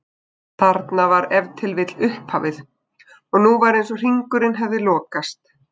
Þarna var ef til vill upphafið og nú var eins og hringurinn hefði lokast.